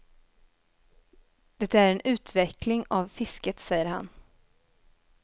Det är en utveckling av fisket, säger han.